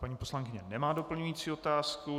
Paní poslankyně nemá doplňující otázku.